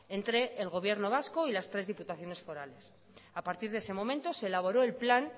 entre el gobierno vasco y las tres diputaciones forales a partir de ese momento se elaboró el plan